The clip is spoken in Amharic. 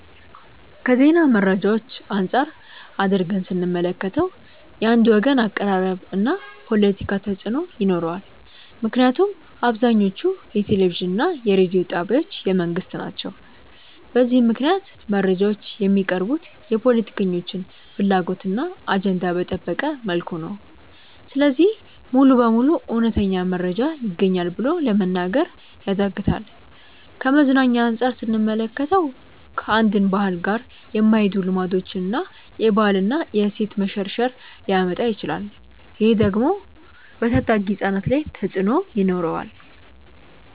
ከዜና መረጃዎች አንፃር አድርገን ስንመለከተው። የአንድ ወገን አቀራረብ እና ፖለቲካ ተፅእኖ ይኖረዋል ምክንያቱም አብዛኞቹ የቴሌቪዥን እና የሬዲዮ ጣቢያዎች የመንግስት ናቸው። በዚህም ምክንያት መረጃዎች የሚቀርቡት የፖለቲከኞችን ፍላጎት እና አጀንዳ በጠበቀ መልኩ ነው። ስለዚህ ሙሉ በሙሉ እውነተኛ መረጃ ይገኛል ብሎ ለመናገር ያዳግታል። ከመዝናኛ አንፃር ስንመለከተው። ከአንድን ባህል ጋር የማይሄዱ ልማዶችን እና የባህል እና የእሴት መሸርሸር ሊያመጣ ይችላል። ይህ ደግሞ በታዳጊ ህፃናት ላይ ተፅእኖ ይኖረዋል።